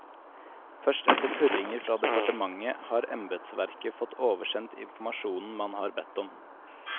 Først etter purringer fra departementet, har embedsverket fått oversendt informasjonen man har bedt om.